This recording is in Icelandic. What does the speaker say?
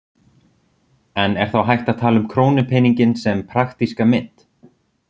En er þá hægt að tala um krónupeninginn sem praktíska mynt?